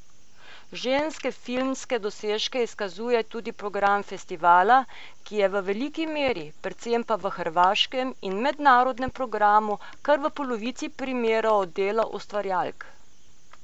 Ženske filmske dosežke izkazuje tudi program festivala, ki je v veliki meri, predvsem pa v hrvaškem in mednarodnem programu kar v polovici primerov delo ustvarjalk.